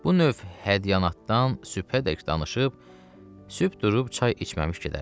Bu növ hədyanaddan sübhədək danışıb sübh durub çay içməmiş gedərdi.